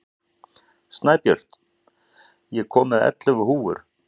Snæbjört, ég kom með ellefu húfur!